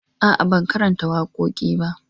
A'a, ban karanta wakoki ba.